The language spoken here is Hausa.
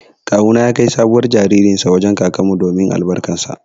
Kawu na ya kai sabuwar jaririn sa wajen kakan mu domin albarkan sa.